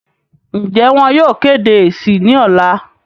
ǹjẹ́ wọn yóò kéde èsì ní ọ̀la?